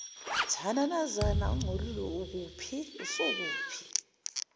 mathananazana ongcolile usukuphi